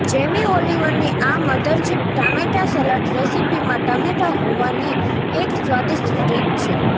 Jamie ઓલિવરની આ mothership ટામેટા સલાડ રેસીપીમાં ટમેટાં હોવાની એક સ્વાદિષ્ટ રીત છે